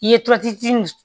I ye